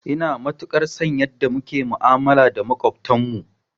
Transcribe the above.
Ina matukar son yanda muke ma'amala da maƙwabtan mu